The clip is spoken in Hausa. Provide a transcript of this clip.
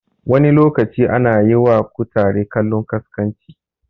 Wani lokacin ana yiwa kutare kallon ƙasƙanci